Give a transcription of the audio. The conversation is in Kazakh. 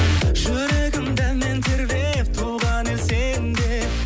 жүрегімді мен тербеп туған ел сенде